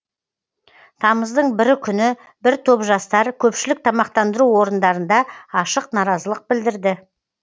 тамыздың бірі күні бір топ жастар көпшілік тамақтандыру орындарында ашық наразылық білдірді